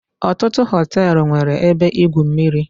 Ọtụtụ họtelụ nwere ebe igwu mmiri.